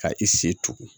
Ka i se tugun